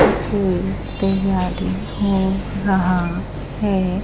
सब कोई तैयारी हो रहा है।